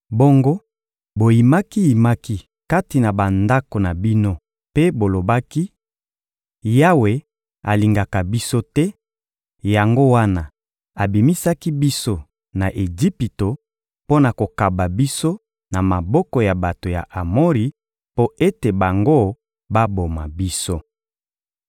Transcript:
Bongo boyimaki-yimaki kati na bandako na bino mpe bolobaki: «Yawe alingaka biso te, yango wana abimisaki biso na Ejipito mpo na kokaba biso na maboko ya bato ya Amori mpo ete bango baboma biso.